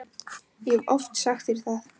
Ég hef oft sagt þér það.